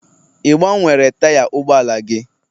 Ị gbanwere taya ụgbọala gị?